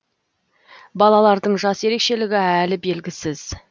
балалардың жас ерекшелігі әлі белгісіз